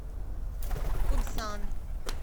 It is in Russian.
кунсан